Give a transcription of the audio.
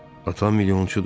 Atam milyonçudur.